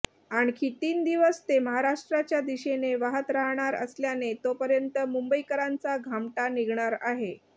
आणखी तीन दिवस ते महाराष्ट्राच्या दिशेने वाहत राहणार असल्याने तोपर्यंत मुंबईकरांचा घामटा निघणार आहे